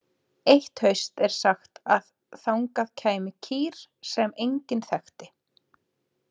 Eitt haust er sagt að þangað kæmi kýr sem enginn þekkti.